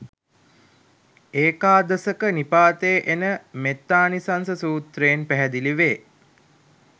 ඒකාදසක නිපාතයේ එන මෙත්තානිසංස සූත්‍රයෙන් පැහැදිලි වේ.